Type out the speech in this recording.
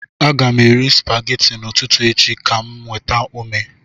Aga m eri spaghetti n'ụtụtụ echi ka m nweta ume